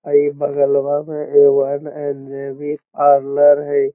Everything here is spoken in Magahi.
हई बगलवा में ए वन एन.जे.बी पार्लर हई।